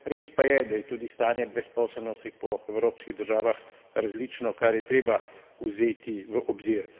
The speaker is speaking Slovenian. Res pa je, da je tudi stanje brezposelnosti po evropskih državah različno, kar je treba vzeti v obzir.